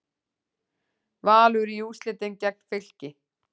Valur í úrslitin gegn Fylki